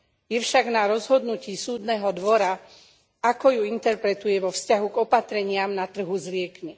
Je však na rozhodnutí Súdneho dvora, ako ju interpretuje vo vzťahu k opatreniam na trhu s liekmi.